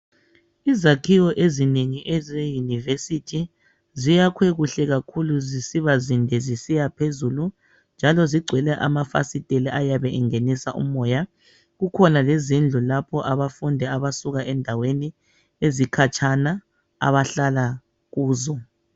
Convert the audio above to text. Izakhiwo ezinengi eze university ziyakhwe kuhle kakhulu zisiba zinde zisiyaphezulu njalo zigcwele ama fasitela ayabe engenisa umoya kukhona lezindlu lapho abafundi abasuka endaweni ezikhatshana abahlala kuzo .